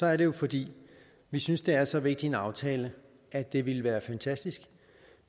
er det jo fordi vi synes det er så vigtig en aftale at det ville være fantastisk